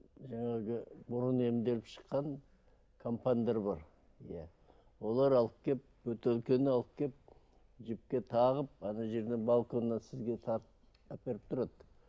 жаңағы бұрын емделіп шыққан компандар бар иә олар алып келіп бөтелкені алып келіп жіпке тағып жерінен балконнан сізге тартып әперіп тұрады